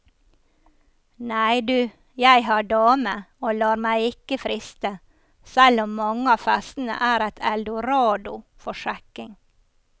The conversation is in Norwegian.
Nei, du, jeg har dame og lar meg ikke friste, selv om mange av festene er et eldorado for sjekking.